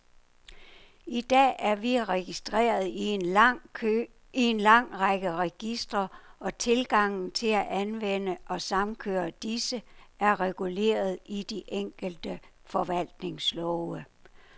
I dag er vi registreret i en lang række registre, og tilgangen til at anvende og samkøre disse, er reguleret i de enkelte forvaltningslove.